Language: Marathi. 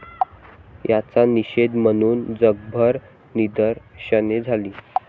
याचा निषेध म्हणून जगभर निदर्शने झाली.